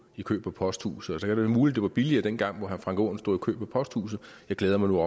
i kø på posthuset så er det muligt var billigere dengang hvor herre frank aaen stod i kø på posthuset jeg glæder mig nu